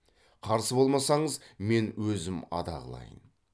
қарсы болмасаңыз мен өзім ада қылайын